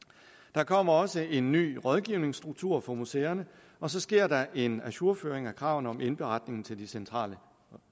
der kommer også en ny rådgivningsstruktur for museerne og så sker der en ajourføring af kravene om indberetning til de centrale